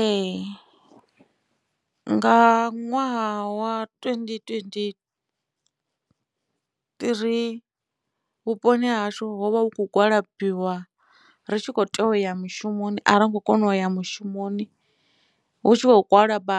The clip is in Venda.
Ee nga ṅwaha wa twendi twendi three vhuponi ha hashu hovha hu kho gwalabiwa ritshi kho tea u ya mushumoni arongo kona uya mushumoni hu tshi khou gwalaba